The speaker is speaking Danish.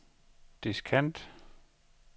diskant